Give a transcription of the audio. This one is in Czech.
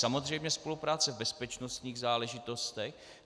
Samozřejmě spolupráce v bezpečnostních záležitostech.